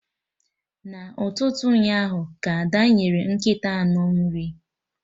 Na ụtụtụ ụnyaahụ ka Ada nyere nkịta anụ nri